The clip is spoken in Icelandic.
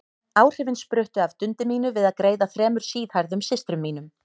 Áhrifin spruttu af dundi mínu við að greiða þremur síðhærðum systrum mínum.